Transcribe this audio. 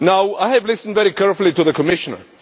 I have listened very carefully to the Commissioner.